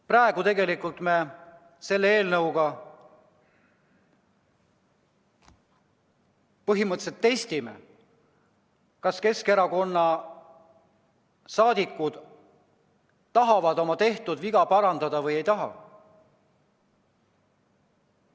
Praegu me selle eelnõuga põhimõtteliselt testime, kas Keskerakonna saadikud tahavad oma tehtud viga parandada või ei taha.